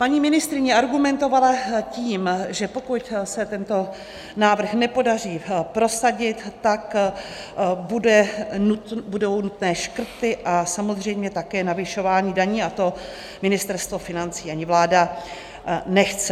Paní ministryně argumentovala tím, že pokud se tento návrh nepodaří prosadit, tak budou nutné škrty a samozřejmě také navyšování daní a to Ministerstvo financí ani vláda nechce.